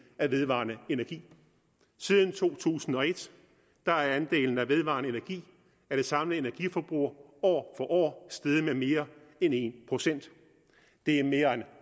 af vedvarende energi siden to tusind og et er andelen af vedvarende energi af det samlede energiforbrug år for år steget med mere end en procent det er mere end